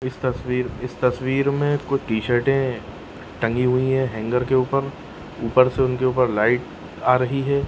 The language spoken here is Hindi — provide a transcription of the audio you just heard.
इस तस्वीर इस तस्वीर मे कुछ टी-शर्टे टंगी हुई है हैंगर के ऊपर ऊपर से उनके ऊपर लाइट आ रही है।